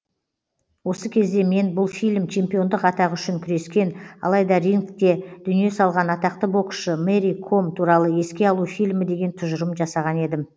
осы кезде мен бұл фильм чемпиондық атағы үшін күрескен алайда рингте дүние салған атақты боксшы мэри ком туралы еске алу фильмі деген тұжырым жасаған едім